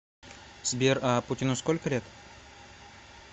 сбер а путину сколько лет